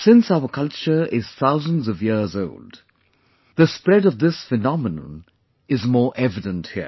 Since our culture is thousands of years old, the spread of this phenomenon is more evident here